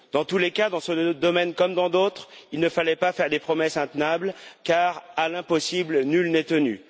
Dans tous les cas, dans ce domaine comme dans d'autres, il ne fallait pas faire de promesses intenables, car à l'impossible nul n'est tenu.